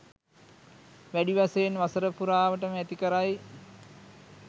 වැඩි වශයෙන් වසර පුරාවටම ඇති කරයි.